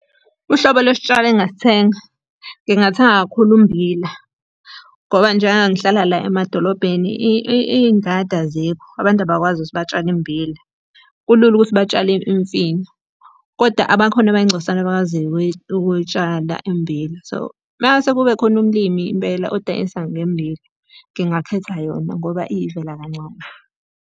Uhlobo lwesitshalo engingasithenga, ngingathenga kakhulu ummbila. Ngoba njengoba ngihlala la emadolobheni iy'ngadi azikho, abantu abakwazi ukuthi batshale immbila, kulula ukuthi batshale imfino. Kodwa abakhona abayingcosana abakwaziyo ukuyitshala immbila. So, uma kungase kube khona umlimi impela odayisa ngemmbila, ngingakhetha yona ngoba iyivela kancane.